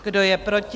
Kdo je proti?